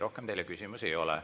Rohkem teile küsimusi ei ole.